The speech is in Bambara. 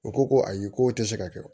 U ko ko ayi k'o tɛ se ka kɛ